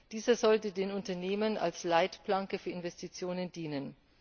Dieser sollte den Unternehmen als Leitplanke für Investitionen dienen.